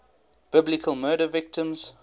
biblical murder victims